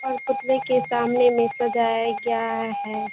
और पुतले के सामने में सजाया गया है।